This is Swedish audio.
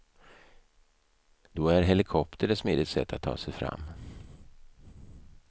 Då är helikopter ett smidigt sätt att ta sig fram.